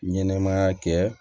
Ɲɛnɛmaya kɛ